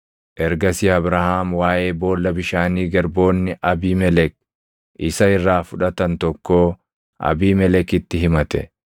Ergasii Abrahaam waaʼee boolla bishaanii garboonni Abiimelek isa irraa fudhatan tokkoo Abiimelekitti himate.